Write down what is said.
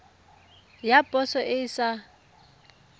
ya poso e e sa